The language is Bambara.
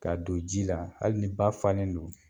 Ka don ji la hali ni ba fanlen don.